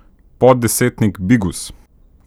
Poddesetnik Bigus!